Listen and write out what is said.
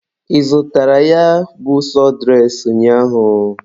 Ị zụtara ya bụ sọdụres ụnyaahụ?